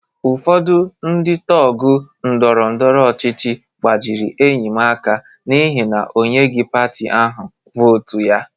Ụfọdụ ndị tọgụ ndọrọ ndọrọ ọchịchị gbajịrị enyi m aka n'ihi na o nyeghị pati ahụ vootu ya.